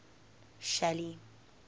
shelly